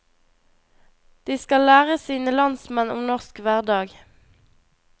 De skal lære sine landsmenn om norsk hverdag.